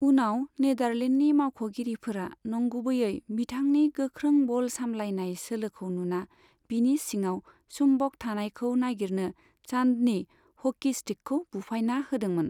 उनाव नेदारलेन्डनि मावख'गिरिफोरा नंगुबैयै बिथांनि गोख्रों बल सामलायनाय सोलोखौ नुना बिनि सिङाव सुम्बक थानायखौ नागिरनो चान्दनि ह'की स्टिकखौ बुफायना होदोंमोन।